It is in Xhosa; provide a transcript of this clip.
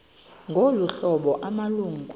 ngolu hlobo amalungu